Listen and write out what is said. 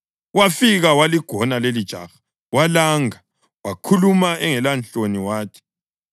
Wafika waligona lelijaha walanga wakhuluma engelanhloni wathi: